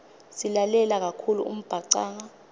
silalela kakhulu umbhacanga